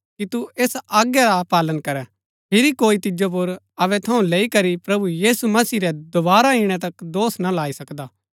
कि तू ऐसा आज्ञा रा पालन करैं फिरी कोई तिजो पुर अबै थऊँ लैई करी प्रभु यीशु मसीह रै दोवारा ईणै तक दोष ना लाई सकदा